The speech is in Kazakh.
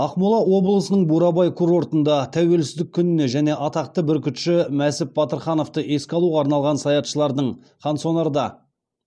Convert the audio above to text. ақмола облысының бурабай курортында тәуелсіздік күніне және атақты бүркітші мәсіп батырхановты еске алуға арналған саятшылардың қансонарда